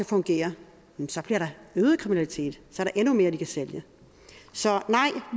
fungere så bliver der øget kriminalitet så er der endnu mere de kan sælge så nej